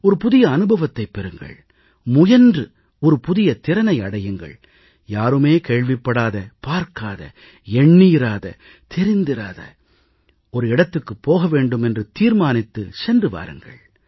ஒரு புதிய அனுபவத்தைப் பெறுங்கள் முயன்று ஒரு புதிய திறனை அடையுங்கள் யாருமே கேள்விப்படாத பார்க்காத எண்ணியிராத தெரிந்திராத ஒரு இடத்துக்குப் போக வேண்டும் என்று தீர்மானித்து சென்று வாருங்கள்